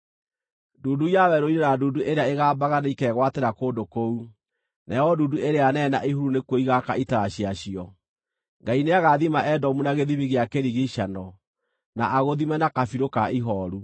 Ndundu ya werũ-inĩ na ndundu ĩrĩa ĩgambaga nĩikegwatĩra kũndũ kũu; nayo ndundu ĩrĩa nene na ihuru nĩkuo igaaka itara ciacio. Ngai nĩagathima Edomu na gĩthimi gĩa kĩrigiicano, na agũthime na kabirũ ka ihooru.